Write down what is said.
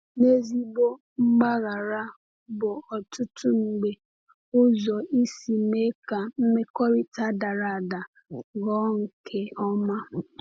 N’ezigbo mgbaghara bụ ọtụtụ mgbe ụzọ isi mee ka mmekọrịta dara ada ghọọ nke ọma.